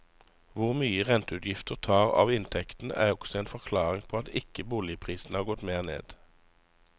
Hvor mye renteutgiftene tar av inntekten er også en forklaring på at ikke boligprisene har gått mer ned.